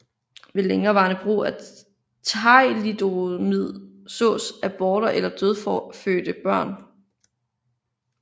Ved længerevarende brug af thalidomid sås aborter eller dødfødte børn